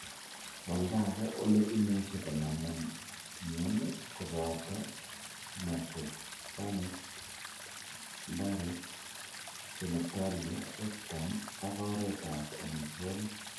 Olda age ole imuche konamin mioni kopoto nasopharnyx, larynx, genitalia, rectum, ak oretap omitwokik.